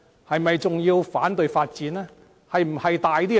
是否還要反對發展呢？